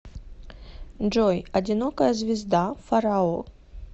джой одинокая звезда фарао